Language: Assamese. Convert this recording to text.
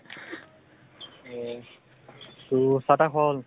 হয় । তহ চাহ তাহ খোৱা হল?